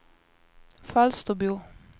Falsterbo